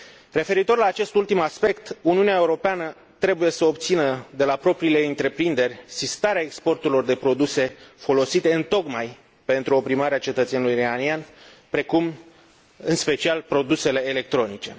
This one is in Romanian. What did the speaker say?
Referitor la acest ultim aspect, Uniunea Europeană trebuie să obțină de la propriile ei întreprinderi sistarea exporturilor de produse folosite întocmai pentru oprimarea cetățenilor iranieni, precum, în special, produsele electronice.